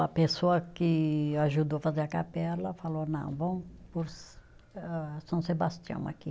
A pessoa que ajudou fazer a capela falou, não, vamos pôr âh, São Sebastião aqui.